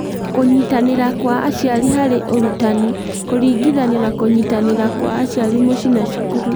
Kũnyitanĩra kwa aciari harĩ ũrutani kũringithanio na kũnyitanĩra kwa aciari mũciĩ na cukuru.